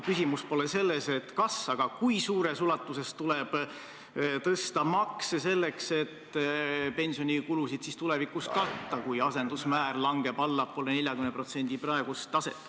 Küsimus pole selles, kas, vaid selles, kui suures ulatuses tuleb tõsta makse selleks, et pensionikulusid tulevikus katta, kui asendusmäär langeb allapoole 40% praegust taset.